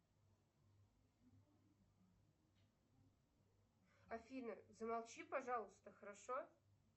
афина замолчи пожалуйста хорошо